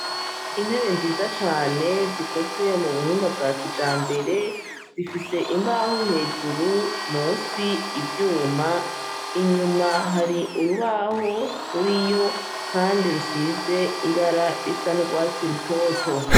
Intebe nziza cyane zikozwe mubuhinga bwa kijambere, zifise imbaho hejuru, munsi ivyuma, inyuma hari urubaho ruriyo kandi rusize ibara isa n'urwatsi rutoto.